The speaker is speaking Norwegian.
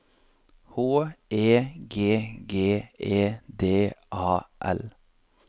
H E G G E D A L